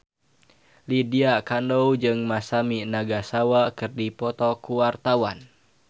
Lydia Kandou jeung Masami Nagasawa keur dipoto ku wartawan